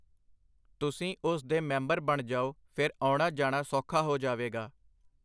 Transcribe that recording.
ਤੁਸੀਂ ਉਸ ਦੇ ਮੈਂਬਰ ਬਣ ਜਾਓ ਫੇਰ ਆਉਣਾ ਜਾਣਾ ਸੌਖਾ ਹੋ ਜਾਵੇਗਾ.